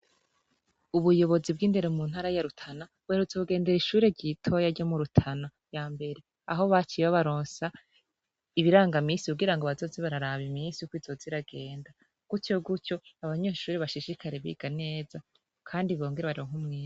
Ubuyobozi bw' indero mu ntara ya Rutana, buherutse kugender' ishure ritoya ryo mu Rutana ya mbere, aho baciye babarons' ibirangaminsi, kugira bazoze barab' iminsi kwizoz' iragenda gutryo gutry' abanyeshure bashishikare biga neza kandi bongere baronk' umwimbu.